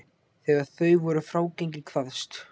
Þegar þau voru frágengin kvaðst